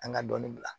An ka dɔɔnin bila